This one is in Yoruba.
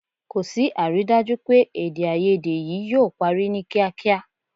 Kò sí àrídájú pé èdèàìyedè yìí yóò parí ní kíákíá